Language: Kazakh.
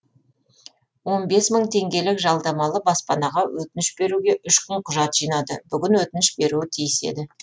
он бес мың теңгелік жалдамалы баспанаға өтініш беруге үш күн құжат жинады бүгін өтініш беруі тиіс еді